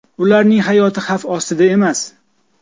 Ularning hayoti xavf ostida emas.